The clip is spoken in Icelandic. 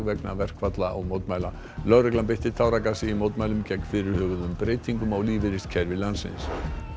vegna verkfalla og mótmæla í lögreglan beitti táragasi í mótmælum gegn fyrirhuguðum breytingum á lífeyriskerfi landsins